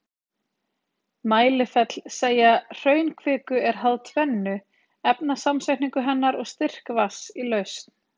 Mælifell Seigja hraunkviku er háð tvennu, efnasamsetningu hennar og styrk vatns í lausn.